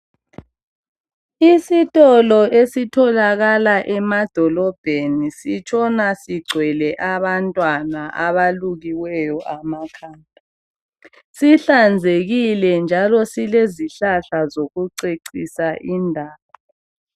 Isitolo esitholakala emadolobheni sitshona sigcwele abantwana abalukiweyo amakhanda. Sihlanzekile njalo silezihlahla zokucecisa indawo.